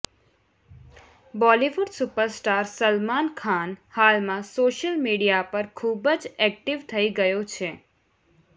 Bollywood super star Salman Khan હાલમાં social media પર ખૂબ જ એક્ટિવ થઈ ગયો છે